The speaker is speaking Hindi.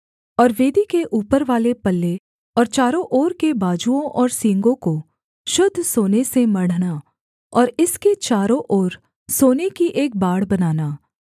और वेदी के ऊपरवाले पल्ले और चारों ओर के बाजुओं और सींगों को शुद्ध सोने से मढ़ना और इसके चारों ओर सोने की एक बाड़ बनाना